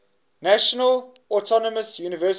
national autonomous university